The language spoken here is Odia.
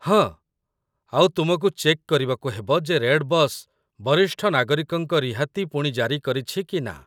ହଁ, ଆଉ ତୁମକୁ ଚେକ୍ କରିବାକୁ ହେବ ଯେ ରେଡ଼୍‌ବସ୍ ବରିଷ୍ଠ ନାଗରିକଙ୍କ ରିହାତି ପୁଣି ଜାରି କରିଛି କି ନା।